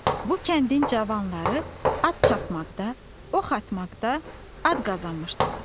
Bu kəndin cavanları at çapmaqda, ox atmaqda ad qazanmışdılar.